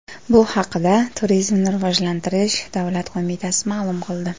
Bu haqda Turizmni rivojlantirish davlat qo‘mitasi ma’lum qildi .